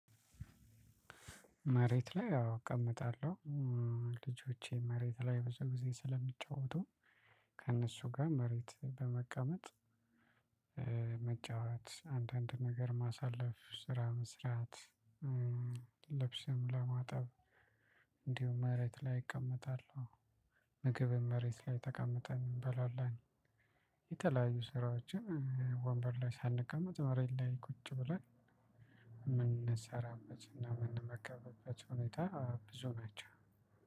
መሬት ላይ አወ እቀመጣለሁ። ልጆቼ መሬት ላይ ብዙ ጊዜ ስለሚጫወቱ ከእነሱ ጋር መሬት በመቀመጥ መጫወት አንዳንድ ነገር ማሳለፍ ስራ መስራት። ልብስም ለማጠብ እንዲሁ መሬት ላይ እቀመጣለሁ። ምግብን መሬት ላይ ተቀምጠን እንበላለን። የተለያዩ ስራዎችን ወንበር ላይ ሳንቀመጥ መሬት ላይ ቁጭ ብለን የምንሰራበት እና የምንመገብበት ሁኔታ ብዙ ናቸው።